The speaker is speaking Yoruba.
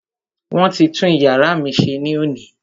Wọ́n ti tún iyàrá mí ṣe ní òní.